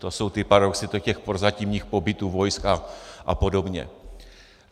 To jsou ty paradoxy, těch prozatímních pobytů vojsk a podobně.